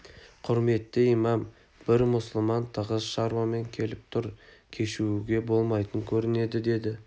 құрметті имам бір мұсылман тығыз шаруамен келіп тұр кешігуге болмайтын көрінеді деді